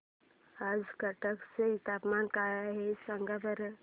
आज कटक चे तापमान काय आहे सांगा बरं